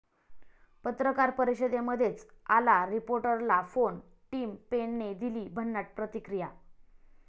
पत्रकार परिषदेमध्येच आला रिपोर्टरला फोन, टिम पेनने दिली भन्नाट प्रतिक्रिया